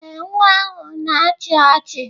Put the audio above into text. Ee, nwa ahụ na-achị ọchị.